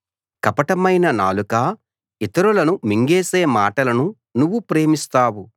కపటమైన నాలుకా ఇతరులను మింగేసే మాటలను నువ్వు ప్రేమిస్తావు